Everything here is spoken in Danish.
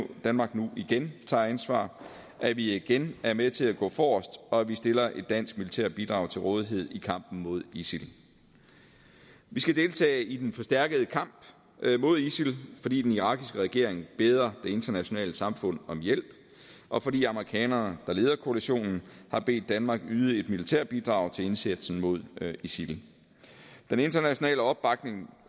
danmark nu igen tager ansvar at vi igen er med til at gå forrest og at vi stiller et dansk militært bidrag til rådighed i kampen mod isil vi skal deltage i den forstærkede kamp mod isil fordi den irakiske regering beder det internationale samfund om hjælp og fordi amerikanerne der leder koalitionen har bedt danmark yde et militært bidrag til indsatsen mod isil den internationale opbakning